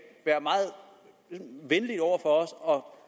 være meget venlig over for os og